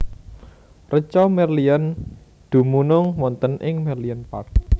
Reca Merlion dumunung wonten ing Merlion Park